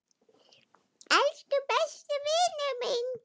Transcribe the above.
Elsku besti vinur minn.